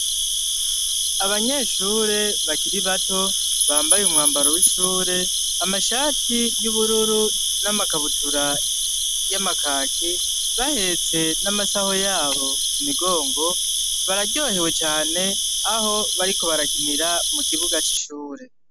Abanyeshure bakiri bato bambaye umwambaro w'ishure amashati y'ubururu n'amakabutura y'amakaki bahetse n'amasaho yabo kumigongo bararyohewe cane aho bariko barakinira mukibuga c'ishure.